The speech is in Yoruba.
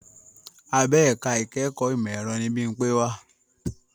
Abẹ ẹ̀ka ìkẹ́kọ̀ọ́ ìmọ̀ ẹ̀rọ ni Bímpé wà